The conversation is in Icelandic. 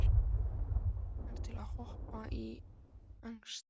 Hana langar til að hrópa í angist sinni.